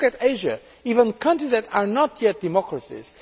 Just look at Asia with countries that are not yet democracies